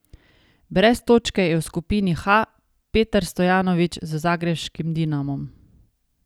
Brez točke je v skupini H Petar Stojanović z zagrebškim Dinamom.